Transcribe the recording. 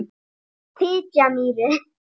Fitjamýri